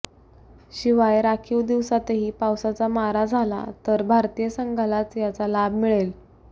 शिवाय राखीव दिवसातही पावसाचा मारा झाला तर भारतीय संघालाच याचा लाभ मिळेल